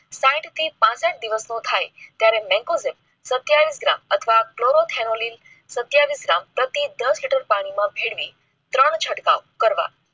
સાયિત થી પાંસઠ દિવસ નો થાય ત્યારે necozin સત્યાવીસ gram અથવા ક્લોરોથેલોનીલ સત્યાવીસ gram પ્રતિ દસ લીટર પાણી માં ભેળવી ત્રણ છટકાવ કરવ